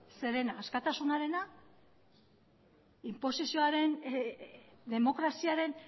zerena askatasunarena inposizioaren demokraziaren